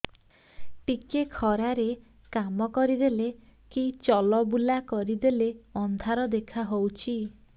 ଟିକେ ଖରା ରେ କାମ କରିଦେଲେ କି ଚଲବୁଲା କରିଦେଲେ ଅନ୍ଧାର ଦେଖା ହଉଚି